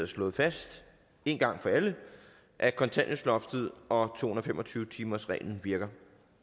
slået fast en gang for alle at kontanthjælpsloftet og to hundrede og fem og tyve timersreglen virker